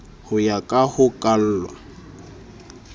ho ya ka ho kalwa